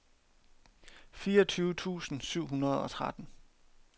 fireogtyve tusind syv hundrede og tretten